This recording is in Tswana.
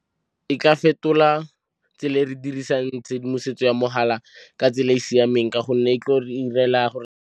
E ka fetola tsela e re dirisang tshedimosetso ya mogala ka tsela e e siameng ka gonne e tlo re 'irela gore.